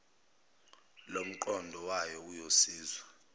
lomqondo wayo uyosizwa